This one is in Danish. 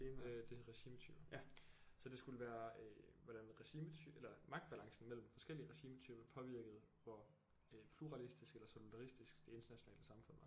Øh det er regimetyper så det skulle være øh hvordan regimetyper eller magtbalancen mellem forskellige regimetyper påvirkede hvor øh pluralistisk eller solidaristisk det internationale samfund var